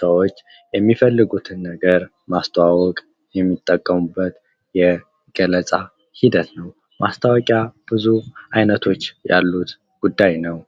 ሰዎች የሚፈልጉትን ነገር ለማስተዋወቅ የሚጠቀሙበት የገለጻ ሂደት ነው ።ማስታወቂያ ብዙ አይነቶች ያሉት ጉዳይ ነው።